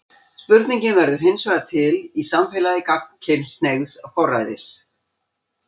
Spurningin verður hinsvegar til í samfélagi gagnkynhneigðs forræðis.